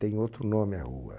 Tem outro nome a rua.